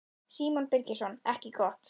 Símon Birgisson: Ekki gott?